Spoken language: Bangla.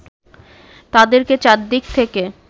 তাদেরকে চারদিক থেকে